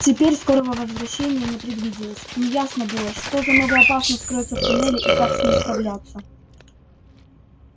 теперь скорого возвращения не предвиделось неясно было что за новая опасность кроется в туннеле и как с ней справляться